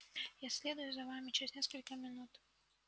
я следую за вами через несколько минут